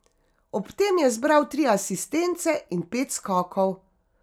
Ob tem je zbral tri asistence in pet skokov.